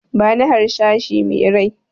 Bani harsashi me rai!